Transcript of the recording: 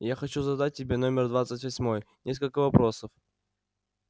я хочу задать тебе номер двадцать восьмой несколько вопросов